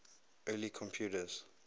early computers